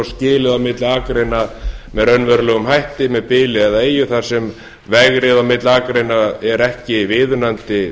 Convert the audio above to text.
skilið á milli akreina með raunverulegum hætti með bili eða eyju þar sem vegrið milli akreina er ekki viðunandi